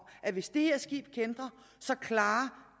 at hvis det her skib kæntrer så klarer